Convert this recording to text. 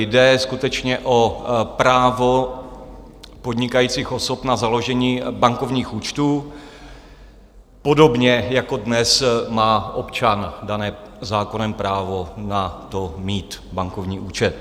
Jde skutečně o právo podnikajících osob na založení bankovních účtů, podobně jako dnes má občan dané zákonem právo na to, mít bankovní účet.